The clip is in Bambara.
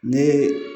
Ni